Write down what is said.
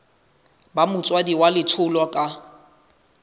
ba motswadi wa letholwa ka